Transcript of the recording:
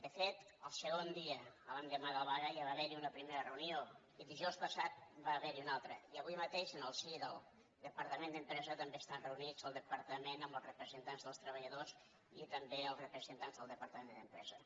de fet el segon dia l’endemà de la vaga ja va haver hi una primera reunió i dijous passat va haver n’hi una altra i avui mateix en el si del departament d’empresa també estan reunits el departament amb els representants dels treballadors i també els representants del departament d’empresa